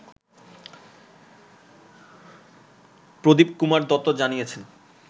প্রদীপ কুমার দত্ত জানিয়েছেন